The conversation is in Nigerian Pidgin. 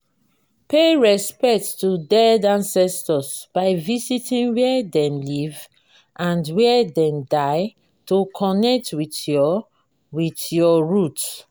pay respect to dead ancestors by visiting where dem live and where dem die to connect with your with your root.